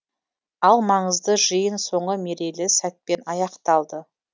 ал маңызды жиын соңы мерейлі сәтпен аяқталды